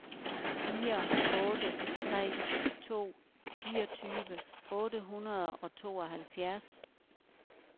fire otte tre to fireogtyve otte hundrede og tooghalvfjerds